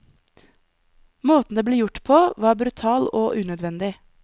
Måten det ble gjort, på var brutal og unødvendig.